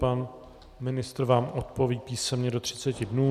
Pan ministr vám odpoví písemně do 30 dnů.